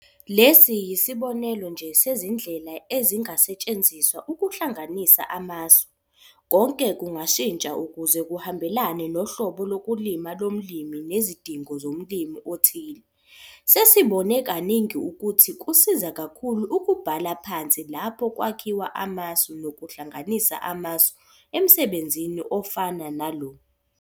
Lesi yisibonelo nje sezindlela ezingasetshenziswa ukuhlanganisa amasu, konke kungashintsha ukuze kuhambelane nohlobo lokulima lomlimi nezidingo zomlimi othile. Sesibone kaningi ukuthi kusiza kakhulu ukubhala phansi lapho kwakhiwa amasu nokuhlanganisa amasu emsebenzini ofana nalo.